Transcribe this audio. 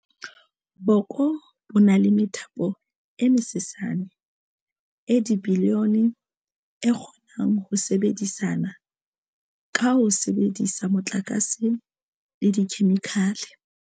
Boko bo na le methapokutlo e mesesane, e dibilione, e kgonang ho sebedisana ka ho sebedisa motlakase le dikhemikhale.